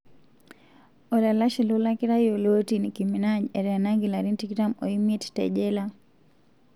Olalashe lolakira yioloti Nicki Minaj etenaki larin 25 tejela.